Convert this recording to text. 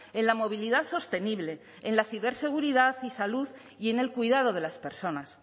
en la movilidad sostenible en la ciberseguridad y salud y en el cuidado de las personas